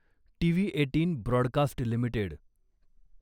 TV eighteen broadcast limited